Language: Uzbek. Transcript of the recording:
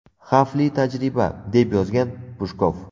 Xavfli tajriba...”, − deb yozgan Pushkov.